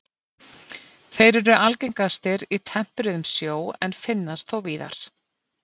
þeir eru algengastir í tempruðum sjó en finnast þó víðar